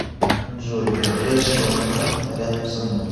джой ближайший банкомат рядом со мной